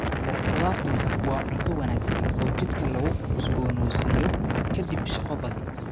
Maraq khudaartu waa cunto wanaagsan oo jidhka lagu cusboonaysiiyo kadib shaqo badan.